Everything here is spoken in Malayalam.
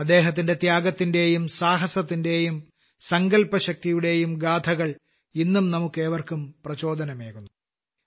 അദ്ദേഹത്തിന്റെ ത്യാഗത്തിന്റെയും സാഹസത്തിന്റെയും സങ്കല്പശക്തിയുടെയും ഗാഥകൾ ഇന്നും നമുക്കേവർക്കും പ്രചോദനമേകുന്നു